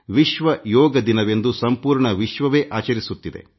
ವಿಶ್ವ ಯೋಗ ದಿನವೆಂದು ಸಂಪೂರ್ಣ ವಿಶ್ವವೇ ಆಚರಿಸುತ್ತಿದೆ